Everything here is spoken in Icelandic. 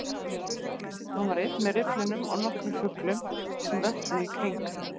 Hann var einn með rifflinum og nokkrum fuglum sem vöppuðu í kring